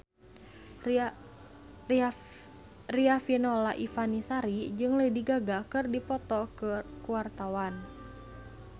Riafinola Ifani Sari jeung Lady Gaga keur dipoto ku wartawan